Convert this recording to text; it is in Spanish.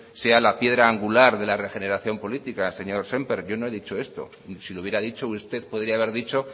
sea la piedra angular de la regeneración política señor semper yo no he dicho eso y si lo hubiera dicho usted podría haber dicho